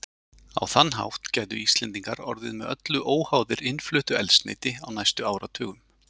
Á þann hátt gætu Íslendingar orðið með öllu óháðir innfluttu eldsneyti á næstu áratugum.